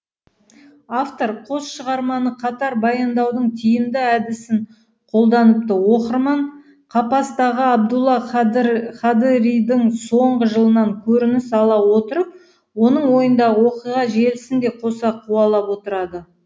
автор қос шығарманы қатар баяндаудың тиімді әдісін қолданыпты оқырман қапастағы абдулла қадыридің соңғы жылынан көрініс ала отырып оның ойындағы оқиға желісін де қоса қуалап отырады